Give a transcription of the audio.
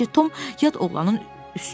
Getdikcə Tom yad oğlanın üstünə çıxdı.